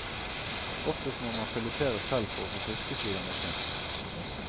Oftest må man filetere selv for å få fiskesider med skinn.